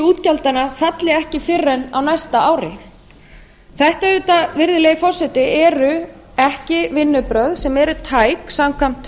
útgjaldanna falli ekki fyrr en á næsta ári þetta eru auðvitað ekki virðulegi forseti vinnubrögð sem eru tæk samkvæmt